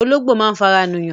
Ológbò máa ń fara nù yàn